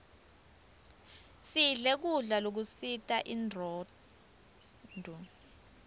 sidle kudla lokusita inronduo